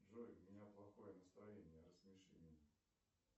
джой у меня плохое настроение рассмеши меня